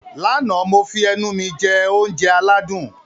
Lánàá, mo fi ẹnu mi jẹ oúnjẹ aládùn